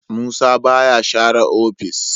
Musa baya share ofis.